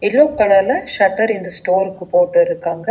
Yellow கலர்ல shutter இந்த ஸ்டோருக்கு போட்டுருக்காங்க.